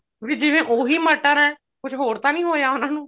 ਵੀ ਜਿਵੇਂ ਉਹੀ ਮਟਰ ਹੈ ਕੁੱਛ ਹੋਰ ਤਾਂ ਨੀ ਹੋਇਆ ਉਹਨਾ ਨੂੰ